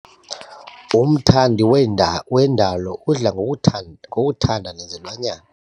Umthandi weenda wendalo udla ngokutha ngokunda nezilwanyana.